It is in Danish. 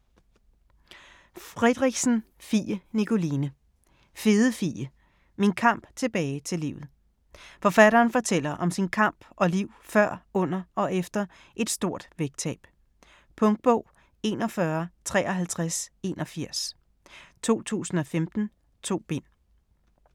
Friedrichsen, Fie Nikoline: Fede Fie: min kamp tilbage til livet Forfatteren fortæller om sin kamp og liv før, under og efter et stort vægttab. Punktbog 415381 2015. 2 bind.